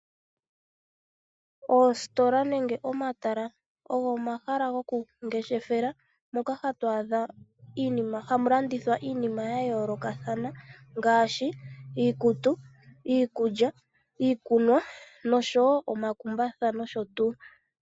Oositola nenge omatala ogo omahala goku ngeshefela moka hatu a dha hamu landithwa iinima yayoolokathana ngaashi iikutu, iikulya, iikunwa nosho woo omakumbatha nosho tuu.